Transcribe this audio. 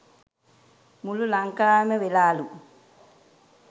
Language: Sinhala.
මුලු ලංකාවෙම වෙලාලු